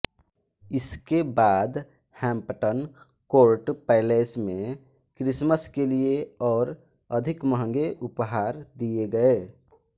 इसके बाद Hampton Court Palace में क्रिसमस के लिए और अधिक महंगे उपहार दिए गए